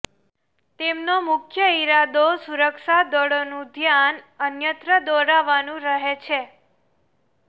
તેમનો મુખ્ય ઇરાદો સુરક્ષા દળોનું ધ્યાનઅન્યત્ર દોરવાનું રહે છે